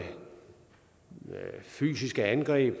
fysiske angreb